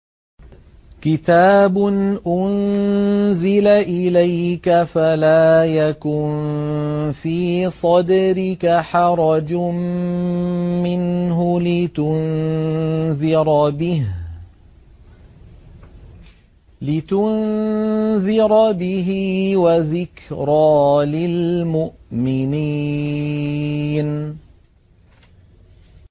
كِتَابٌ أُنزِلَ إِلَيْكَ فَلَا يَكُن فِي صَدْرِكَ حَرَجٌ مِّنْهُ لِتُنذِرَ بِهِ وَذِكْرَىٰ لِلْمُؤْمِنِينَ